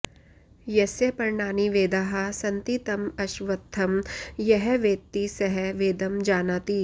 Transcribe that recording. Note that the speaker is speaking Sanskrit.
यस्य पर्णानि वेदाः सन्ति तं अश्वत्थं यः वेत्ति सः वेदं जानाति